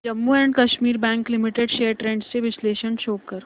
Jammu and Kashmir bank limited shares trends चे विश्लेषण show कर